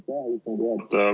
Aitäh, istungi juhataja!